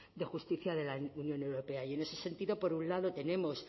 de justicia de la unión europea y en ese sentido por un lado tenemos